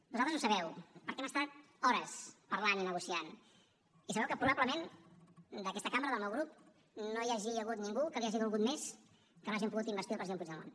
vosaltres ho sabeu perquè hem estat hores parlant i negociant i sabeu que probablement d’aquesta cambra del meu grup no hi hagi hagut ningú que li hagi dolgut més que no hàgim pogut investir el president puigdemont